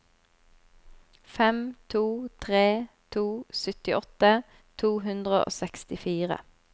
fem to tre to syttiåtte to hundre og sekstifire